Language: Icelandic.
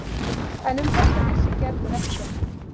En um þetta vissi Gerður ekkert.